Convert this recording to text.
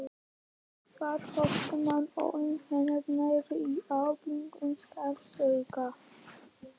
Hvert fótmál olli henni nærri óbærilegum sársauka.